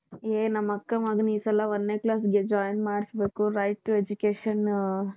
ಏ ನಮ್ಮ ಅಕ್ಕ ಮಗನಿಗೆ ಈ ಸಲ ಒಂದನೇ classಗೆ join ಮಾಡಿಸಬೇಕು right two education.